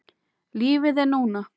Lífið er núna.